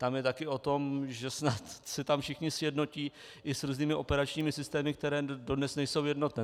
To je taky o tom, že snad se tam všichni sjednotí i s různými operačními systémy, které dodnes nejsou jednotné.